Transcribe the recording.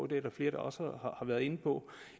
det er der flere der også har været inde på